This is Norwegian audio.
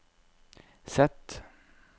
Z